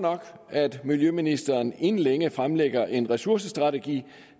at miljøministeren inden længe fremlægger en ressourcestrategi